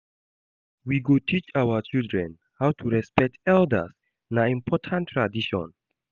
We go teach our children how to respect elders, na important tradition.